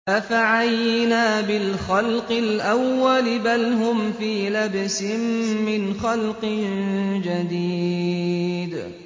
أَفَعَيِينَا بِالْخَلْقِ الْأَوَّلِ ۚ بَلْ هُمْ فِي لَبْسٍ مِّنْ خَلْقٍ جَدِيدٍ